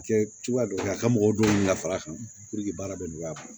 Kɛ cogoya dɔ la a ka mɔgɔw don la fara kan baara bɛ nɔgɔya a bolo